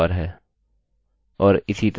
आशा है कि आपको समझ में आया होगा